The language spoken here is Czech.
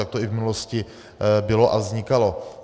Tak to i v minulosti bylo a vznikalo.